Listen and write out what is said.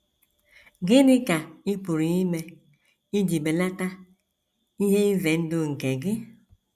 Gịnị ka ị pụrụ ime iji belata ihe ize ndụ nke gị?